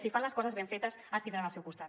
si fan les coses ben fetes ens tindran al seu costat